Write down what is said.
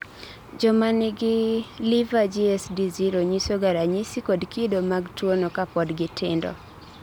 jomanigi liver GSD 0 nyisoga ranyisi kod kido mag tuwono kapod gitindo